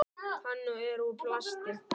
Hann er úr plasti.